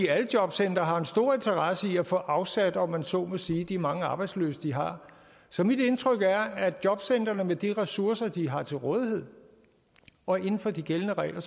alle jobcentre har en stor interesse i at få afsat om man så må sige de mange arbejdsløse de har så mit indtryk er at mange af jobcentrene med de ressourcer de har til rådighed og inden for de gældende regler